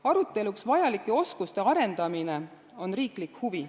Aruteluks vajalike oskuste arendamine on riiklik huvi.